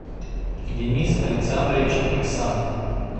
денис александрович иксанов